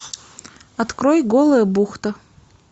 открой голая бухта